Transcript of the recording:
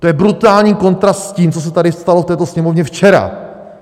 To je brutální kontrast s tím, co se tady stalo v této Sněmovně včera.